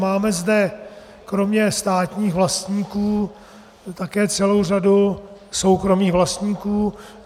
Máme zde kromě státních vlastníků také celou řadu soukromých vlastníků.